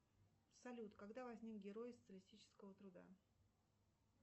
салют когда возник герой социалистического труда